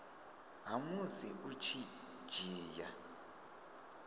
ha musi u tshi dzhia